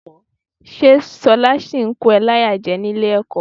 Ṣé ṣọlá ṣì ń kó ẹ láyà jẹ ní ilé-ẹ̀kọ́?